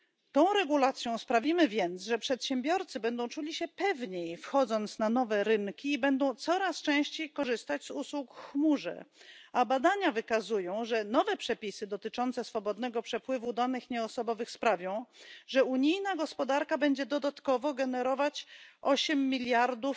Tą regulacją sprawimy więc, że przedsiębiorcy będą czuli się pewniej, wchodząc na nowe rynki, i będą coraz częściej korzystać z usług w chmurze, a badania wykazują, że nowe przepisy dotyczące swobodnego przepływu danych nieosobowych sprawią, że unijna gospodarka będzie generować dodatkowo 8 miliardów